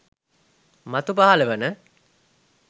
මතු පහළ වන